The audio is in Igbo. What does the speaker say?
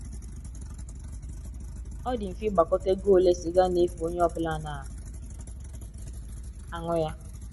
Ọ dị mfe ịgbakọta ego ole siga na - efu onye ọ bụla na - anù ya